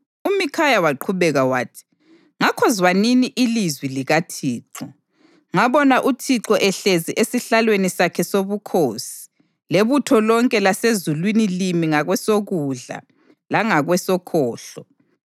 UMikhaya waqhubeka wathi, “Ngakho zwanini ilizwi likaThixo: Ngabona uThixo ehlezi esihlalweni sakhe sobukhosi lebutho lonke lasezulwini limi ngakwesokudla langakwesokhohlo.